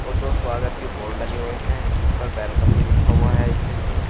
और दो स्वागत के बोर्ड लगे हुए हैं जिस पर वेलकम भी लिखा हुआ है इंग्लिश में।